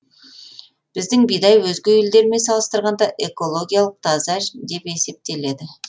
біздің бидай өзге елдермен салыстырғанда экологиялық таза деп есептеледі